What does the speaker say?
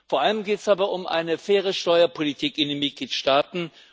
Vor allem geht es aber um eine faire Steuerpolitik in den Mitgliedstaaten.